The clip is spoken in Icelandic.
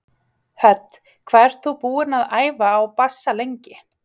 Hödd: Hvað ert þú búinn að æfa á bassa lengi?